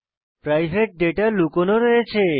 private data লুকানো রয়েছে